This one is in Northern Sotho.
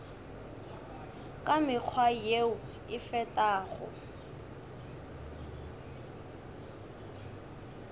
ka mekgwa yeo e fetago